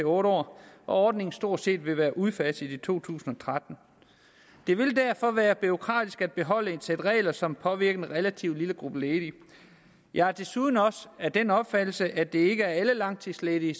år og ordningen vil stort set være udfaset i to tusind og tretten det vil derfor være bureaukratisk at beholde et sæt regler som påvirker en relativt lille gruppe ledige jeg er desuden af den opfattelse at det ikke er alle langtidsledige